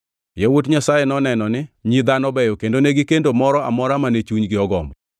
yawuot Nyasaye noneno ni nyi dhano beyo kendo negikendo moro amora mane chunygi ogombo.